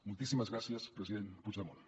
moltíssimes gràcies president puigdemont